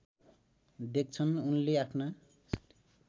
देख्छन् उनले आफ्ना